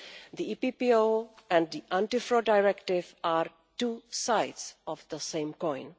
The EPPO and the Anti Fraud Directive are two sides of the same coin.